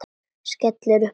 Skellti upp úr.